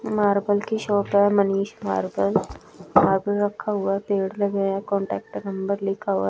marble की shop है Manish marble marble रखा हुआ है पेड़ लगे हैं कांटेक्ट नंबर लिखा हुआ--